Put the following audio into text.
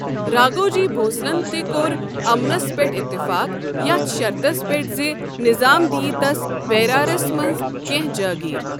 راگھوجی بھونسلن تہِ كوٚر امنس پیٹھ اتعفاق یتھ شرٕطس پیٹھ زِ نظام دِیہِ تس بیرارس منٛز کینٛہہ جٲگیر۔